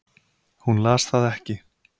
Hún las það ekki.